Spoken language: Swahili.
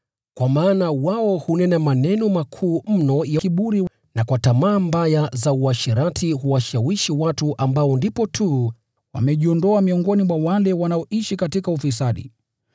Kwa maana wao hunena maneno makuu mno ya kiburi cha bure, na kwa kuvutia tamaa mbaya za asili ya mwili, huwashawishi watu ambao ndipo tu wamejiondoa miongoni mwa wale wanaoishi katika ufisadi.